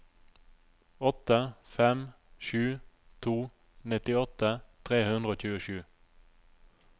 åtte fem sju to nittiåtte tre hundre og tjuesju